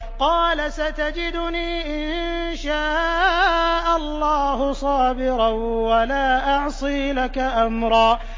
قَالَ سَتَجِدُنِي إِن شَاءَ اللَّهُ صَابِرًا وَلَا أَعْصِي لَكَ أَمْرًا